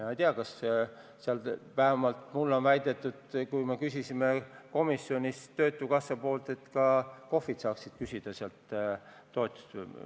Ma ei tea, aga vähemalt mulle on väidetud, kui me komisjonis töötukassaga seoses küsisime, et ka KOV-id saaksid sealt toetust küsida.